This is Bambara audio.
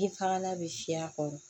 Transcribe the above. I faŋa be siyɛ a kɔrɔ